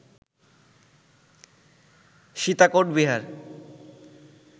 Sitakot Bihar